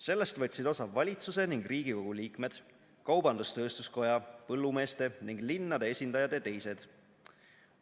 Sellest võtsid osa valitsuse ning Riigikogu liikmed, Kaubandus-Tööstuskoja, põllumeeste ning linnade esindajad ja teised.